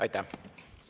Aitäh!